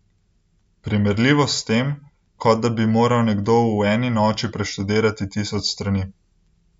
Primerljivo s tem, ko da bi moral nekdo v eni noči preštudirati tisoč strani.